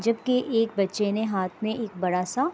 جب کے ایک بچے نے ہاتھ مے ایک بڑا سا